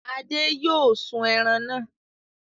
Ade yóò sun ẹran náà!